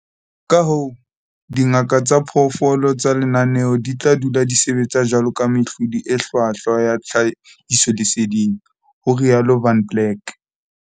Kahoo, dingaka tsa diphoofolo tsa lenaneo di tla dula di sebetsa jwaloka mehlodi e hlwahlwa ya tlhahisoleseding, ho rialo Van Blerk.